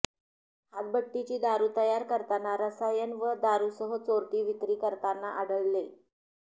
हातभट्टीची दारु तयार करताना रसायन व दारुसह चोरटी विक्री करताना आढळले